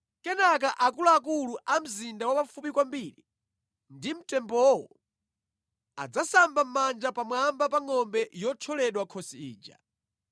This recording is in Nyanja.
Kenaka akuluakulu a mzinda wapafupi kwambiri ndi mtembowo adzasamba mʼmanja pamwamba pa ngʼombe yothyoledwa khosi ija,